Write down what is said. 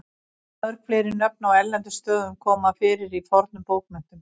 mörg fleiri nöfn á erlendum stöðum koma fyrir í fornum bókmenntum